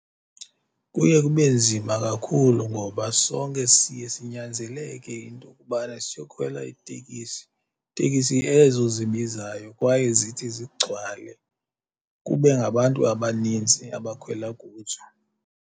Kuye kube nzima kakhulu ngoba sonke siye sinyanzeleke into yokobana siyokhwela itekisi, tekisi ezo zibizayo kwaye zithi zigcwale kube ngabantu abaninzi abakhwela kuzo.